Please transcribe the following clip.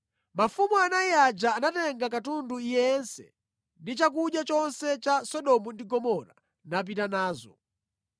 Mafumu anayi aja anatenga katundu yense ndi chakudya chonse cha ku Sodomu ndi Gomora napita nazo.